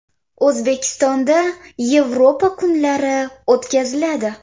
O‘zbekistonda “Yevropa kunlari” o‘tkaziladi.